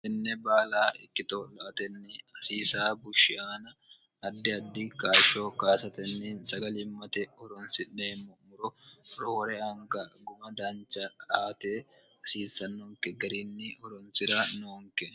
enne baala ikkitoo'natenni hasiisa bushshiyaana addi addi kaashsho kaasatenni sagmmte horonsi'neemmo muro rohore anga guma dancha aate hasiissannonke gariinni horonsi'ra noonke